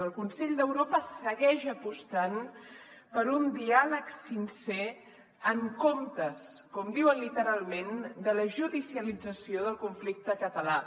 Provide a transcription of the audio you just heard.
el consell d’europa segueix apostant per un diàleg sincer en comptes com diuen literalment de la judicialització del conflicte català